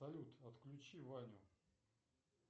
салют отключи ваню